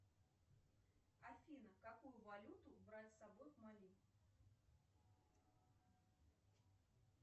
афина какую валюту брать с собой в мали